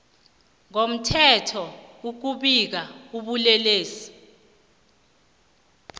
ngomthetho ukubika ubulelesi